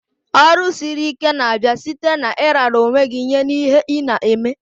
Ọrụ siri ike na-abịa site na ị rara onwe gj nye n'ihe ị na-eme.